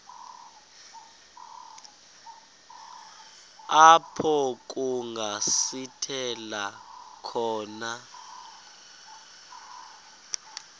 apho kungasithela khona